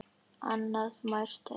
Annað nærtækt dæmi.